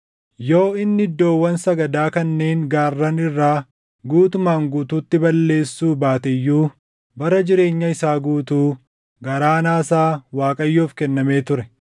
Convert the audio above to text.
Yoo inni iddoowwan sagadaa kanneen gaarran irraa guutumaan guutuutti balleessuu baate iyyuu bara jireenya isaa guutuu garaan Aasaa Waaqayyoof kennamee ture.